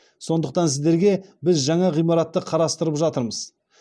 сондықтан сіздерге біз жаңа ғимаратты қарастырып жатырмыз